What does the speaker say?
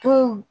Tun